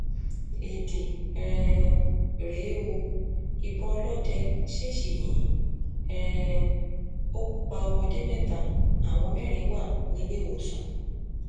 éèdì um rèé o ìbọn ọlọ́dẹ ṣèèṣì yín um ó pa ọmọdé mẹ́ta àwọn mẹ́rin wá nílẹ̀ẹ́wọ̀sàn